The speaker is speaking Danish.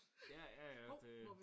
Ja ja ja det